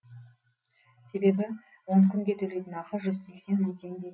себебі он күнге төлейтін ақы жүз сексен мың теңге